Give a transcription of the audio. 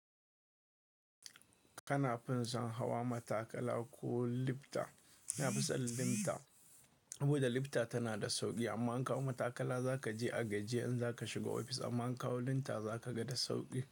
Kana fin son hawa matakala ko lifta? Na fi son lifta saboda lifta tana da sauki amma in ka hau matakala zaka je a gajiye in zaka shiga ofis amma in ka hau lifta zaka ga da sauki.